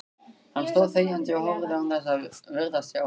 Hann stóð þegjandi og horfði án þess að virðast sjá.